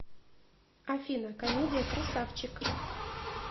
афина комедия красавчик